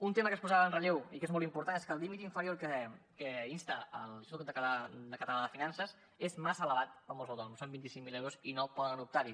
un tema que es posava en relleu i que és molt important és que el límit inferior a què insta l’institut català de finances és massa elevat amb els autònoms són vint cinc mil euros i no poden optar hi